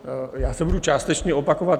Já se budu částečně opakovat.